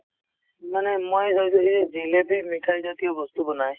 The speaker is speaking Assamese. মানে মই চাইছো এই যে জিলেপী মিঠাই জাতীয় বস্তু বনায়